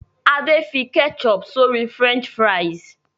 Ade fí ketchup sori french fries.